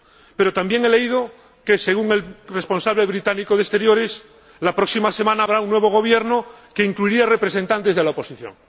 Pero también he leído que —según el responsable británico de Exteriores— la próxima semana habrá un nuevo gobierno que incluiría a representantes de la oposición.